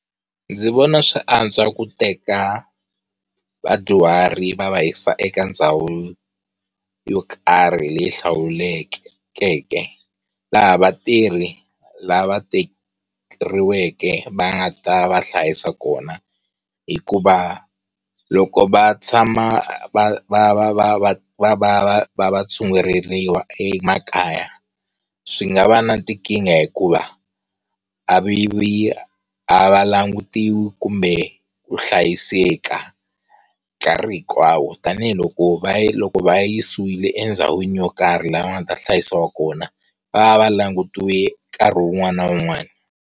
Ndzi vona swi antswa ku teka vadyuhari va va yisa eka ndhawu yo karhi leyi hlawulekeke laha vatirhi lava thoriweke va nga ta va hlayisa kona hikuva loko va tshama va va va va va va va va va ya tshunguleriwa emakaya swi nga va na tikinga hikuva a vi a va langutiwa kumbe ku hlayiseka nkarhi hinkwawo. Tanihiloko va loko va va yisiwile endhawini yo karhi laha va nga ta hlayisiwa kona va va va langutiwile nkarhi wun'wani na wun'wani